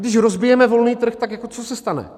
Když rozbijeme volný trh, tak co se stane?